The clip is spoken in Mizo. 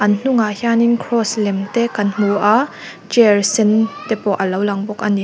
an hnungah hianin cross lem te kan hmu a chair sen te pawh alo lang bawk ani.